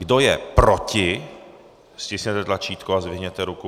Kdo je proti, stiskněte tlačítko a zdvihněte ruku.